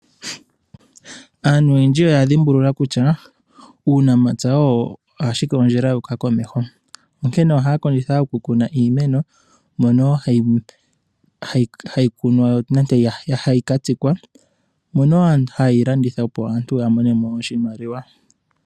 Aantu oyendji oya dhimbulula kutya, uunamapya owo ashike ondjila yu uka komeho, onkene oha ya kondjitha okukuna iimeno mono ha yi kunwa nenge hayi ka tsikwa. Aantu ohaye yi landitha opo ya mone mo oshimaliwa.